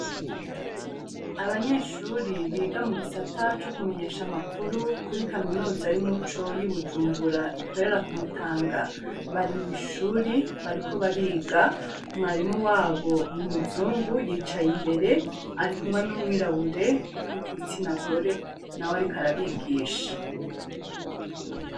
Abanyeshure biga mugisata co kumenyesha amakuru kuri kaminuza y'umuco y'ibujumbura ikorera kumutanga bari mw'ishuri bariko bariga mwarimu wabo n'umuzungu yicaye imbere arikumwe n'umwirabure w'igitsina gore nawe ariko arabigisha.